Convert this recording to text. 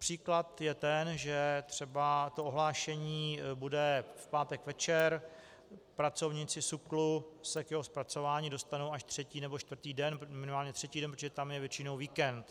Příklad je ten, že třeba to ohlášení bude v pátek večer, pracovníci SÚKL se k jeho zpracování dostanou až třetí nebo čtvrtý den, minimálně třetí den, protože tam je většinou víkend.